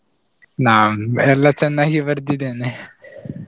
ನಮ್ದಲ್ಲ ಚೆನ್ನಾಗಿ ಬರ್ದಿದೆನೆ .